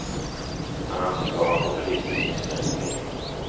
Han anses vara en populistisk missnöjespolitiker.